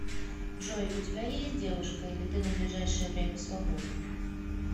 джой у тебя есть девушка или ты на ближайшее время свободен